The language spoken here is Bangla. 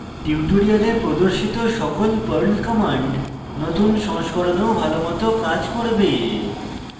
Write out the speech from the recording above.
tutorials প্রদর্শিত সকল perl commands নতুন সংস্করণেও ভালোমত কাজ করবে